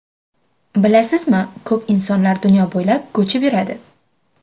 Bilasizmi, ko‘p insonlar dunyo bo‘ylab ko‘chib yuradi.